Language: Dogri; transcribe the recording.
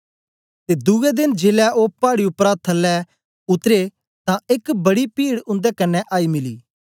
ते दुए देन जेलै ओ पाड़ी उपरा थलै उतरे तां एक बड़ी पीड उन्दे कन्ने आई मिली